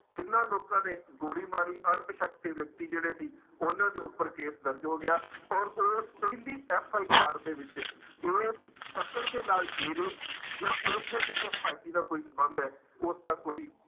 ਜਿਹਨਾਂ ਲੋਕਾਂ ਨੇ ਗੋਲੀ ਮਾਰੀ ਅਣਪਛਾਤੇ ਵਿਅਕਤੀ ਜਿਹੜੇ ਸੀ ਉਹਨਾਂ ਦੇ ਉੱਪਰ ਕੇਸ ਦਰਜ਼ ਹੋ ਗਿਆ ਔਰ ਉਸ ਪਹਿਲੀ FIR ਦੇ ਵਿੱਚ ਇਸ ਕਤਲ ਦੇ ਨਾਲ ਡੇਰੇ ਜਾਂ ਉਸਦੇ ਕਿਸੇ ਹਿਮੈਤੀ ਦਾ ਕੋਈ ਸੰਬੰਧ ਹੈ, ਉਸਦਾ ਕੋਈ